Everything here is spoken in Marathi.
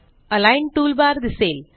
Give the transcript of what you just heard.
अलिग्न टूलबार दिसेल